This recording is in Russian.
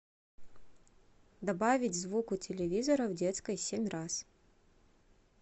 добавить звук у телевизора в детской семь раз